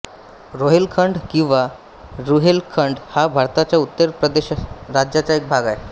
रोहेलखंड किंवा रुहेलखंड हा भारताच्या उत्तर प्रदेश राज्याचा एक भाग आहे